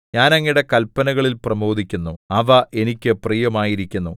ഞാൻ അങ്ങയുടെ കല്പനകളിൽ പ്രമോദിക്കുന്നു അവ എനിക്ക് പ്രിയമായിരിക്കുന്നു